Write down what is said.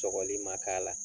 Sogɔli ma k'a la